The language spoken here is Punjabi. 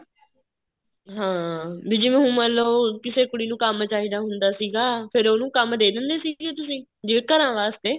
ਹਾਂ ਜਿਵੇਂ ਹੁਣ ਮੰਨਲੋ ਕਿਸੇ ਕੁੜੀ ਨੂੰ ਕੰਮ ਚਾਹੀਦਾ ਹੁੰਦਾ ਸੀਗਾ ਫ਼ੇਰ ਉਹਨੂੰ ਕੰਮ ਦੇ ਦਿੰਦੇ ਸੀਗੇ ਤੁਸੀਂ ਜਿਵੇਂ ਘਰਾਂ ਵਾਸਤੇ